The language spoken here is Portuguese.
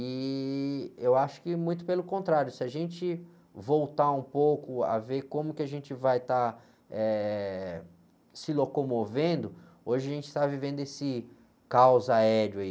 E eu acho que muito pelo contrário, se a gente voltar um pouco a ver como que a gente vai estar eh se locomovendo, hoje a gente está vivendo esse caos aéreo aí.